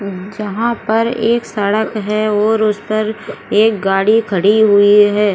जहाँ पर एक सड़क है और उस पर और एक गाड़ी खड़ी हुए है।